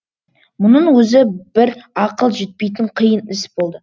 мұның өзі бір ақыл жетпейтін қиын іс болды